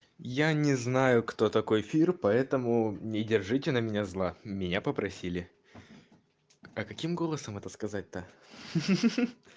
я не знаю кто такой фир поэтому не держите на меня зла меня попросили а каким голосом это сказать-то ха-ха